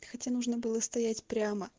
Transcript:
хотя нужно было стоять прямо